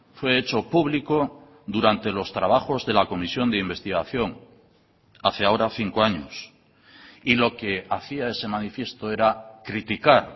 fue hecho público durante los trabajos de la comisión de investigación hace ahora cinco años y lo que hacía ese manifiesto era criticar